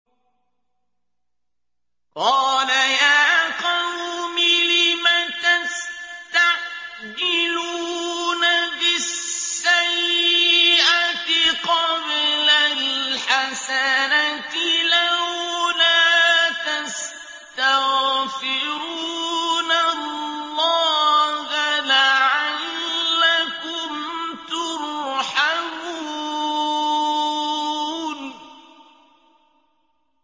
قَالَ يَا قَوْمِ لِمَ تَسْتَعْجِلُونَ بِالسَّيِّئَةِ قَبْلَ الْحَسَنَةِ ۖ لَوْلَا تَسْتَغْفِرُونَ اللَّهَ لَعَلَّكُمْ تُرْحَمُونَ